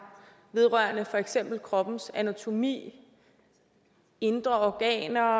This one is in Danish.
vedrørende for eksempel kroppens anatomi indre organer